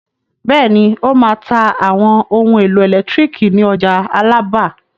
Bẹ́ẹ̀ni, ó máa ta àwọn ohun-èlò ẹ̀lẹ́tíríkì ní ọjà Alábà.